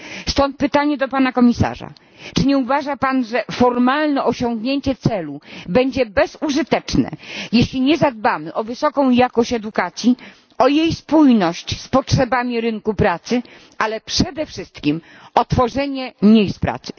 Stąd pytanie do pana komisarza czy nie uważa pan, że formalne osiągnięcie celu będzie bezużyteczne, jeśli nie zadbamy o wysoką jakość edukacji, o jej spójność z potrzebami rynku pracy, a przede wszystkim o tworzenie miejsc pracy?